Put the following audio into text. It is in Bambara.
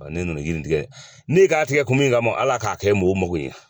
ne nana yiritigɛ ne k'a tigɛ kun min kama ala k'a kɛ mɔgɔw mago ye